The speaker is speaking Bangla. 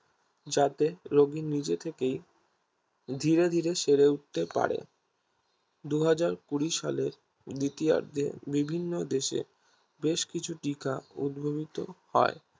যাতে রোগী নিজে থেকেই ধীরে ধীরে শেরে উঠতে পারে দু হাজার কুড়ি সালে দ্বিতীয়ার্ধে বিভিন্ন দেশে বেশকিছু টিকা উদ্ভাবিত হয়